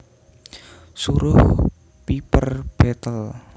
Suruh Piper betle